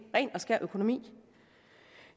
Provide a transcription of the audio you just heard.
ren og skær økonomi